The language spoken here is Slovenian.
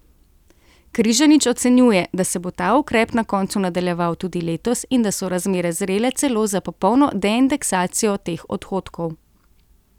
Križanič ocenjuje, da se bo ta ukrep na koncu nadaljeval tudi letos in da so razmere zrele celo za popolno deindeksacijo teh odhodkov.